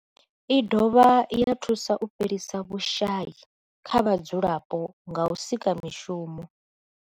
I dovha ya thusa u fhelisa vhushayi kha vhadzulapo nga u sika mishumo.